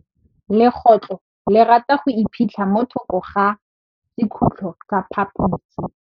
Legôtlô le rata go iphitlha mo thokô ga sekhutlo sa phaposi.